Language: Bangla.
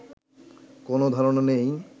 কোনও ধারণা নেই